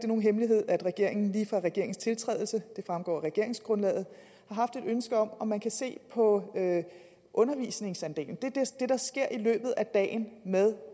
nogen hemmelighed at regeringen lige fra regeringens tiltrædelse det fremgår af regeringsgrundlaget har haft et ønske om om man se på undervisningsandelen det der sker i løbet af dagen med